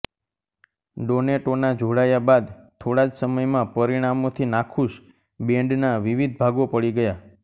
ડોનેટોના જોડાયા બાદ થોડા જ સમયમાં પરિણામોથી નાખુશ બેન્ડના વિવિધ ભાગો પડી ગયા